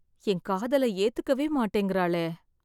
என் காதலை ஏத்துக்கவே மாட்டேங்கிறாளே.